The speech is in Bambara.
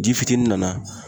Ji fitinin nana